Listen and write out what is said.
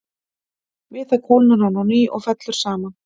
Við það kólnar hann á ný og fellur saman.